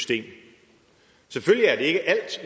det er